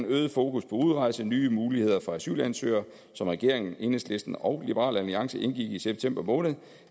øget fokus på udrejse nye muligheder for asylansøgere som regeringen enhedslisten og liberal alliance indgik i september måned